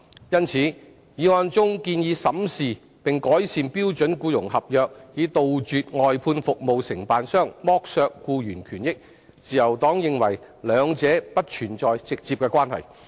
因此，議案中建議審視並改善標準僱傭合約，以杜絕外判服務承辦商剝削僱員權益，自由黨認為兩者不存在直接關係。